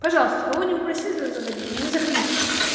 пожалуйста кого не попросили туда заходить не заходите